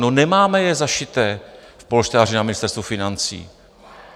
No nemáme je zašité v polštáři na Ministerstvu financí.